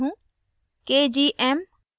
मैं यह पहली बार कर रही हूँ